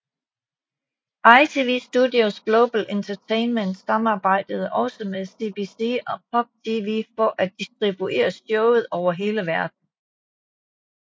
ITV Studios Global Entertainment samarbejdede også med CBC og Pop TV for at distribuere showet over hele verden